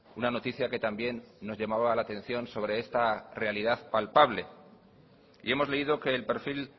una noticia que también nos llamaba la atención sobre esta realidad palpable y hemos leído que el perfil